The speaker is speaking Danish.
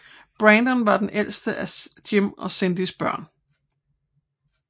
Brandon var det ældeste af Jim og Cindys børn